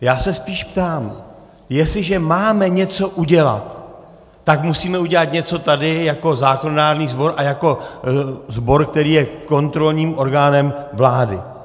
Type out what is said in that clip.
Já se spíš ptám, jestliže máme něco udělat, tak musíme udělat něco tady jako zákonodárný sbor a jako sbor, který je kontrolním orgánem vlády.